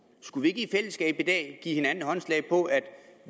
skulle vi ikke i fællesskab i dag give hinanden håndslag på at